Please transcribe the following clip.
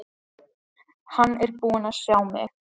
Hann er búinn að sjá mig!